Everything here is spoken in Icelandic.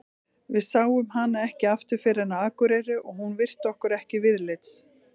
Við sáum hana ekki aftur fyrr en á Akureyri og hún virti okkur ekki viðlits.